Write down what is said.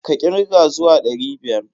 Ka kirga zuwa ɗari biyar!